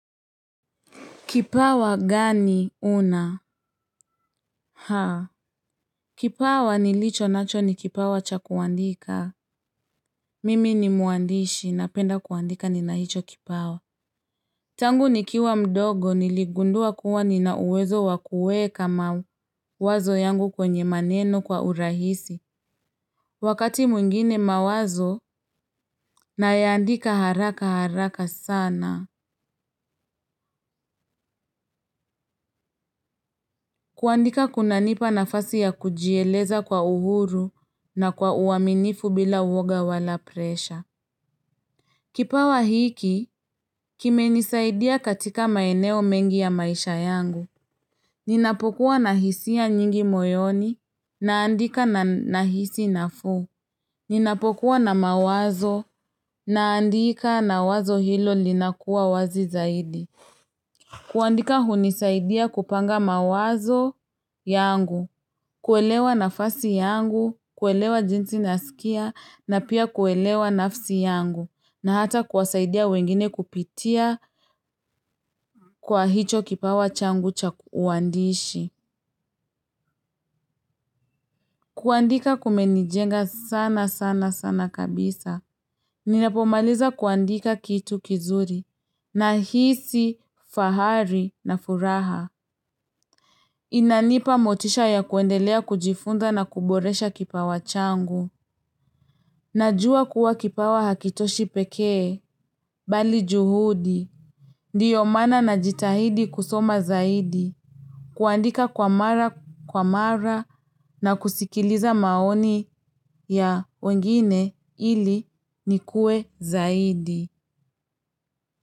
Kipawa gani una? Haa. Kipawa nilichonacho ni kipawa cha kuandika. Mimi ni mwandishi napenda kuandika nina hicho kipawa. Tangu nikiwa mdogo niligundua kuwa nina uwezo wa kuweka mawazo yangu kwenye maneno kwa urahisi. Wakati mwingine mawazo nayaandika haraka haraka sana. Kuandika kunanipa nafasi ya kujieleza kwa uhuru na kwa uaminifu bila uwoga wala presha. Kipawa hiki, kimenisaidia katika maeneo mengi ya maisha yangu. Ninapokuwa na hisia nyingi moyoni, naandika na nahisi nafuu. Ninapokuwa na mawazo, naandika na wazo hilo linakuwa wazi zaidi. Kuandika hunisaidia kupanga mawazo yangu. Kuelewa nafasi yangu, kuelewa jinsi nasikia na pia kuelewa nafsi yangu na hata kuwasaidia wengine kupitia kwa hicho kipawa changu cha uandishi. Kuandika kumenijenga sana sana sana kabisa. Ninapomaliza kuandika kitu kizuri nahisi, fahari na furaha. Inanipa motisha ya kuendelea kujifunda na kuboresha kipawa changu. Najua kuwa kipawa hakitoshi pekee bali juhudi, ndio maana najitahidi kusoma zaidi, kuandika kwa mara kwa mara na kusikiliza maoni ya wengine ili nikue zaidi.